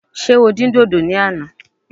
Ṣé o dín dòdò ní àná?